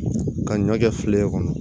Ka ɲɔ kɛ filen kɔnɔ